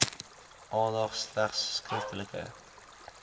aandag slegs skriftelike